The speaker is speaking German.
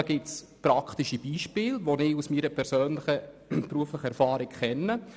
Dazu gibt es praktische Lösungen, die ich aus meiner eigenen beruflichen Erfahrung kenne.